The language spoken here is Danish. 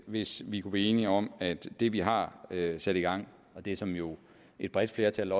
hvis vi kunne blive enige om at det vi har sat i gang det som jo et bredt flertal